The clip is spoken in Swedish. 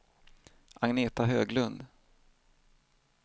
Agneta Höglund